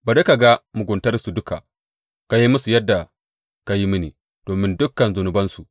Bari ka ga muguntarsu duka; ka yi musu yadda ka yi mini domin dukan zunubansu.